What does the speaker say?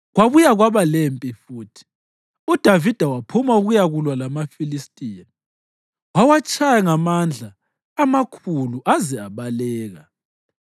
Kwabuya kwaba lempi futhi, uDavida waphuma ukuyakulwa lamaFilistiya. Wawatshaya ngamandla amakhulu aze abaleka.